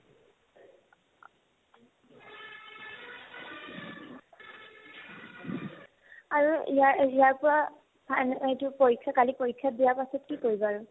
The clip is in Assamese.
আৰু ইয়াৰ ইয়াৰপৰা final এইটো পৰীক্ষা কালি পৰীক্ষা দিয়াৰ পাছত কি কৰিবা আৰু ?